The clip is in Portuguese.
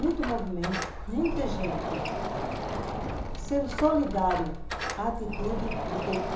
Muito movimento, muita gente sendo solidária à atitude do